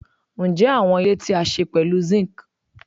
Njẹ awọn ile ti a ṣe pẹlu zinc